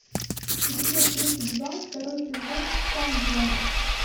эпизод тридцать два второй сезон саутленд